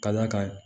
Ka d'a kan